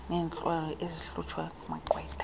neentlwulwa ezikhutshwa kumagqwetha